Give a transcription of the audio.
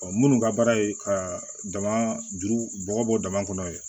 minnu ka baara ye ka dama juru bɔ bɔ dama kɔnɔ yen